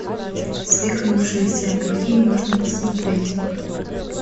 свихнувшиеся какие можно посмотреть